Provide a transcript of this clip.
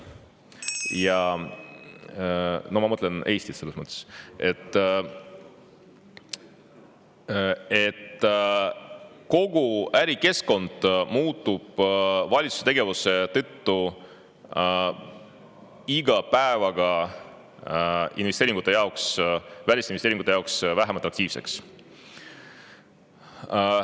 Ma, et kogu Eesti ärikeskkond muutub valitsuse tegevuse tõttu iga päevaga välisinvesteeringute jaoks vähem atraktiivseks.